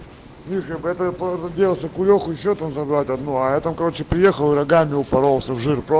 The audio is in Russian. мишка по этой по делать окулеху ещё там забрать одну а я там короче приехал рогами упоролся в жир про